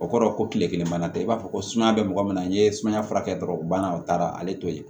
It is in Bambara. O kɔrɔ ko kile kelen bana tɛ i b'a fɔ ko sumaya bɛ mɔgɔ min na n'i ye sumaya furakɛ dɔrɔn o banna o taara ale t'o ye